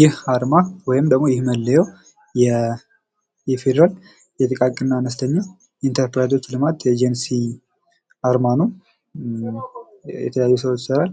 ይህ አርማ ወይም ደግሞ ይህ መለዮ የፌደራል የጥቃቅንና አነስተኛ ኢንተርፕራይዞች ልማት ኤጀንሲ አርማ ነው። የተለያዩ ስራዎች ይሰራል።